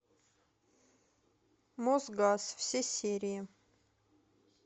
мосгаз все серии